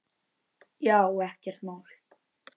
Já, ekkert mál.